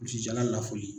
jala lafoli